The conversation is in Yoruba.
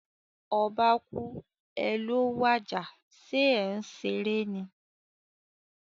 Oba kúú, è è ló wàjà, sé é n seré ni?